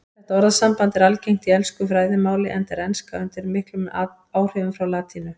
Þetta orðasamband er algengt í ensku fræðimáli enda er enska undir miklum áhrifum frá latínu.